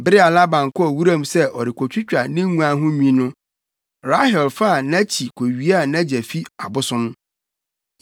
Bere a Laban kɔɔ wuram sɛ ɔrekotwitwa ne nguan ho nwi no, Rahel faa nʼakyi kowiaa nʼagya fi abosom.